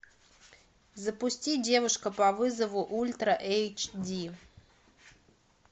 запусти девушка по вызову ультра эйч ди